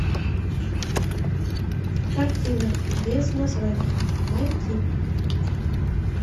картина без названия найти